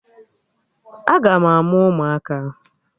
Aga na-amụ ụmụaka